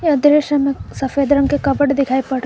इस दृश्य में सफेद रंग के कपबोर्ड दिखाई पड़ रहे--